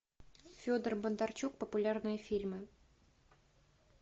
федор бондарчук популярные фильмы